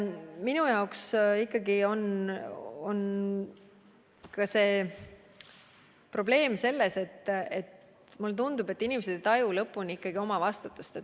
Minu jaoks ikkagi on põhiprobleem, et inimesed päris ei taju omavastutust.